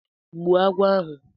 Gbuo agwọ ahụ!